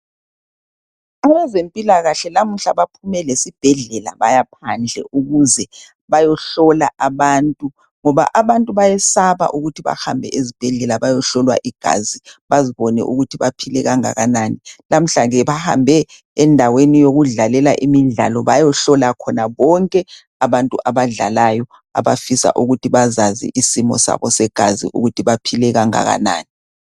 Abezempilakahle lamuhla baphume lesibhedlela bayaphandle ukuze bayohlola abantu, ngoba abantu bayesaba ukuthi bahambe ezibhedlela bayohlolwa igazi bazibone ukuthi baphile kangakanani. Lamhla ke bahambe endaweni yokudlalela imidlalo bayehlola khona bonke abantu abadlalayo abafisa ukuthi bazazi isimo sabo segazi ukuthi baphile okungakanani.